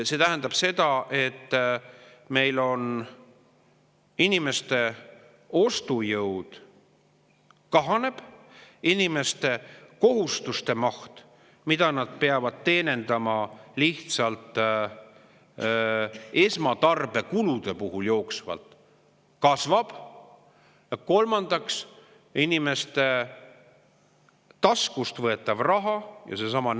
See tähendab seda, et meil inimeste ostujõud kahaneb, inimeste kohustuste maht, mida nad peavad jooksvalt teenindama lihtsalt esmatarbekulude, kasvab ja inimeste taskust võetava raha.